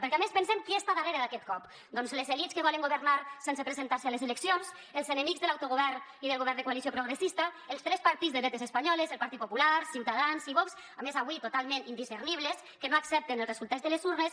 perquè a més pensem qui està darrere d’aquest cop doncs les elits que volen governar sense presentar se a les eleccions els enemics de l’autogovern i del govern de coalició progressista els tres partits de dretes espanyoles el partit popular ciutadans i vox a més avui totalment indiscernibles que no accepten el resultat de les urnes